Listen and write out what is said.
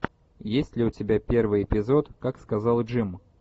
есть ли у тебя первый эпизод как сказал джим